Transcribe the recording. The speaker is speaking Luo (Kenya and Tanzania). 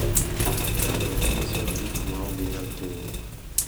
Ka jo ot nyisowa gik ma ok ginyal timo,